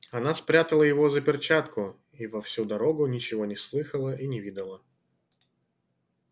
она спрятала его за перчатку и во всю дорогу ничего не слыхала и не видала